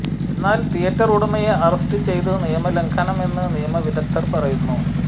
എന്നാൽ തിയറ്റർ ഉടമയെ അറസ്റ്റ് ചെയ്തതു നിയമ ലംഘനമെന്നു നിയമവിദഗ്ദ്ധർ പറയുന്നു